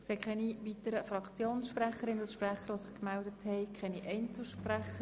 Es haben sich keine weiteren Fraktionssprecherinnen und -sprecher gemeldet, und es gibt auch keine Einzelsprecher.